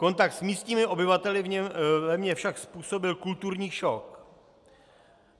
Kontakt s místními obyvateli ve mně však způsobil kulturní šok.